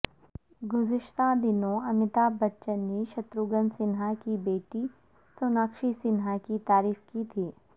گذشتہ دنوں امیتابھ بچن نے شتروگھن سنہا کی بیٹی سوناکشی سنہا کی تعریف کی تھی